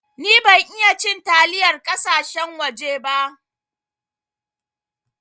Ni ban iya cin taliyar kasashen waje ba.